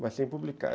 Mas sem publicar.